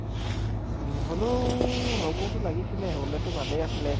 উম হলেওঁ হʼব্তো লাগিছিলে, হʼলেতো ভালে আছিলে।